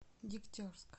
дегтярск